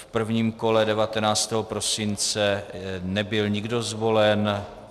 V prvním kole 19. prosince nebyl nikdo zvolen.